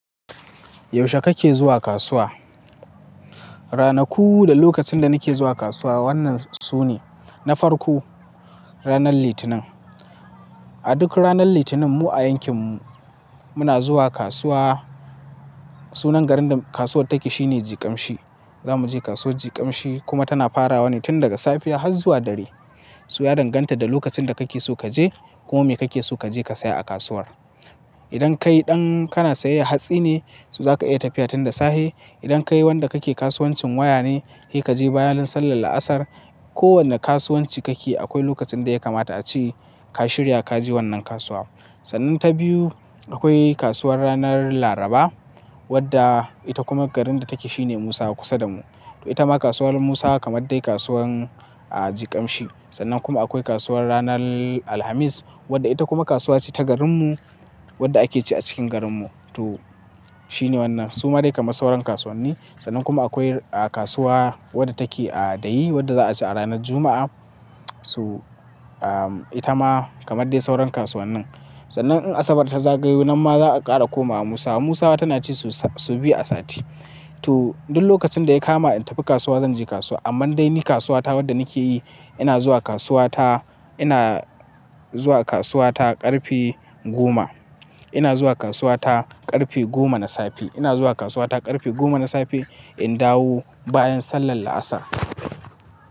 Yaushe kake zuwa kasuwa? Ranaku da lokacin da nake zuwa kasuwa wannan su ne, na farko ranar Litinin. A duk ranar Litinin mu a yankin mu muna zuwa kasuwa. Sunan garin da kasuwar take shi ne Jigamshi. Za mu je kasuwar Jigamshi kuma tana farawa ne tun daga safiya har zuwa dare. Su ya danganta da lokacin da kake so kaje kuma me kake so kaje ka saya a kasuwar. Idan kai ɗan kana sayayyar hatsi ne, su za ka iya tafiya tun da safe. Idan kai wanda kake kasuwancin waya ne, seka je bayan sallar La'asar. Ko wanda kasuwanci kake akwai lokacin da ya kamata a ce ka shirya kaje wannan kasuwa. Sannan ta biyu, akwai kasuwar ranar Laraba wadda ita kuma garin da take shi ne Musawa kusa da mu. To ita ma kasuwar Musa kamar dai kasuwar a Jigamshi. Sannan kuma akwai kasuwar ranar Alhamis wadda ita kuma kasuwa ce ta garinmu wadda ake ci a cikin garinmu. To shi ne wannan. Su ma dai kamar sauran kasuwanni. Sannan kuma akwai kasuwa wadda take a Dayi wadda za a ci a ranar Juma'a. Toh, ah, ita ma kamar dai sauran kasuwannin. Sannan in Asabar ta zagayu, nan ma za a ƙara komawa Musawa. Musawa tana ci sau biyu a sati. To duk lokacin da ya kama in tafi kasuwa zan je kasuwa. Amma dai ni kasuwa ta wadda nake yi, ina zuwa kasuwa ta, ina zuwa kasuwa ta ƙarfe goma. Ina zuwa kasuwa ta ƙarfe goma na safe. Ina zuwa kasuwa ta ƙarfe goma na safe in dawo bayan sallar La'asar.